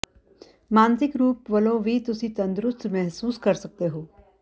ਮਾਨਸਿਕ ਰੂਪ ਵਲੋਂ ਵੀ ਤੁਸੀ ਤੰਦੁਰੁਸਤ ਮਹਿਸੂਸ ਕਰ ਸੱਕਦੇ ਹੋ